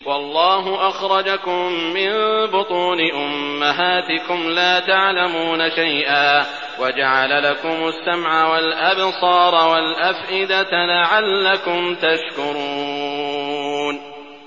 وَاللَّهُ أَخْرَجَكُم مِّن بُطُونِ أُمَّهَاتِكُمْ لَا تَعْلَمُونَ شَيْئًا وَجَعَلَ لَكُمُ السَّمْعَ وَالْأَبْصَارَ وَالْأَفْئِدَةَ ۙ لَعَلَّكُمْ تَشْكُرُونَ